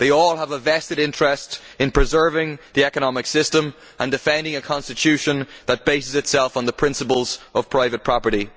They all have a vested interest in preserving the economic system and defending a constitution that bases itself on the principles of private property.